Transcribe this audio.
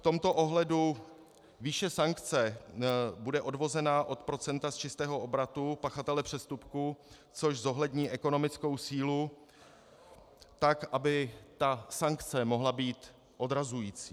V tomto ohledu výše sankce bude odvozena od procenta z čistého obratu pachatele přestupku, což zohlední ekonomickou sílu tak, aby ta sankce mohla být odrazující.